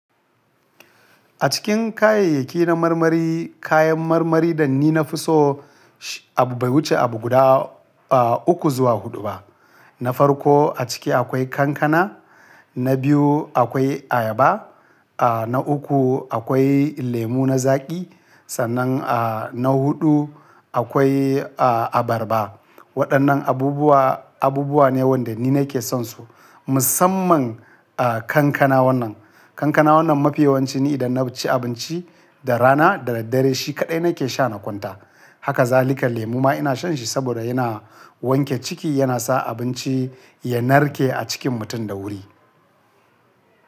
A cikin kayayyaki na marmari, kayan marmari da ni na fi so bai wuce abu guda uku zuwa huɗu ba. Na farko a ciki akwai kankana, na biyu akwai ayaba, na uku akwai lemu na zaƙi, sannan na huɗu akwai abarba. Waɗannan abubuwa, abubuwa ne wanda ni nake son su. Musamman kankana wannan, kankana wannan mafi yawancin ni idan na ci abinci da rana da daddare shi kaɗai nake sha na kwanta. Haka zalika lemu ma ina shan shi saboda yana wanke ciki yana sa abinci ya narke a cikin mutum da wuri.